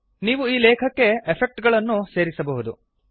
ನೀವು ಈ ಲೇಖಕ್ಕೆ ಎಫೆಕ್ಟ್ ಗಳನ್ನೂ ಸೇರಿಸಬಹುದು